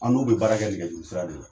An n'u be baarakɛ nɛgɛjurusira de la